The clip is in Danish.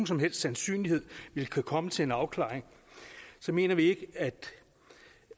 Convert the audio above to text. som helst sandsynlighed vil kunne komme til en afklaring så mener vi at